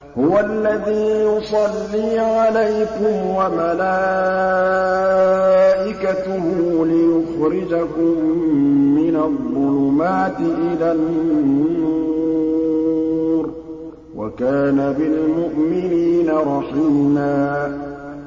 هُوَ الَّذِي يُصَلِّي عَلَيْكُمْ وَمَلَائِكَتُهُ لِيُخْرِجَكُم مِّنَ الظُّلُمَاتِ إِلَى النُّورِ ۚ وَكَانَ بِالْمُؤْمِنِينَ رَحِيمًا